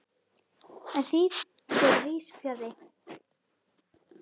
En því fer víðs fjarri.